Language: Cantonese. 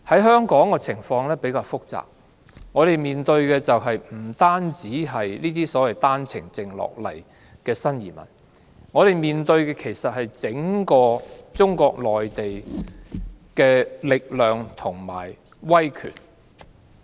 香港的情況比較複雜，我們面對的不單是經單程證來港的新移民，而是整個中國內地的力量及威權。